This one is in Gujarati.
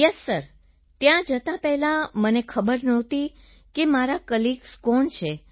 યેસ સિર ત્યાં જતાં પહેલાં મને ખબર નહોતી કે મારા કોલીગ્સ કોણ છે